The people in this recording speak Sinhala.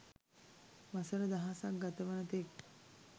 වසර දහසක් ගතවන තෙක්